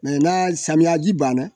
na samiyaji banna